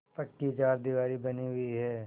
पक्की चारदीवारी बनी हुई है